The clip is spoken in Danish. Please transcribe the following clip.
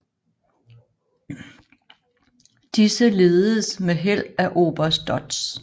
Disse lededes med held af oberst Dodds